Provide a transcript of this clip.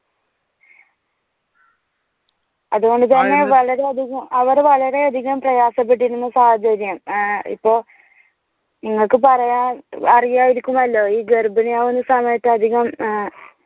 അതുകൊണ്ടുതന്നെ വളരെയധികം അവർ വളരെയധികം പ്രയാസപ്പെട്ടിരുന്ന സാഹചര്യം. ഇപ്പോൾ നിങ്ങൾക്ക് പറയാൻ അറിയായിരിക്കും അല്ലോ ഈ ഗർഭിണിയാവുന്ന സമയത്ത് അധികം ആഹ്